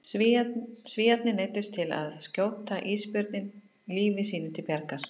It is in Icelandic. Svíarnir neyddust til að skjóta ísbjörninn lífi sínu til bjargar.